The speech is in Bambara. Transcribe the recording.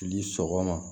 Ni sɔgɔma